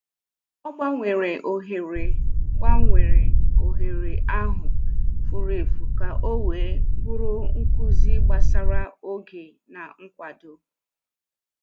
Ọ gbanwere ohere gbanwere ohere ahụ furu efu ka o wee bụrụ nkuzi gbasara oge na nkwado